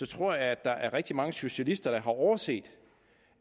tror at der er rigtig mange socialister der har overset